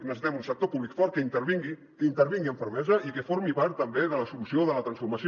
necessitem un sector públic fort que intervingui que intervingui amb fermesa i que formi part també de la solució de la transformació